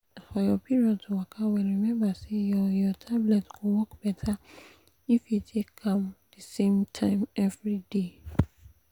for your period to waka well remember say your your tablet go work better if you take am the same time everyday.